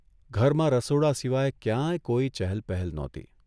ઘરમાં રસોડા સિવાય ક્યાંય કોઇ ચહલ પહલ નહોતી.